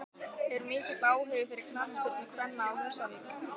Er mikill áhugi fyrir knattspyrnu kvenna á Húsavík?